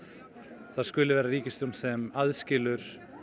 það skuli vera ríkisstjórn sem aðskilur